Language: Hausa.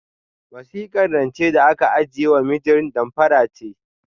Wasikar rancen da aka aikewa mijin damfara ce.